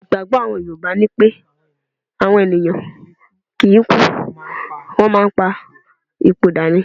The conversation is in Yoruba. Ìgbágbọ́ àwọn yorùbá ni pé àwọn ènìyàn kì í kú, wọ́n máa ń pa ipò dà ni.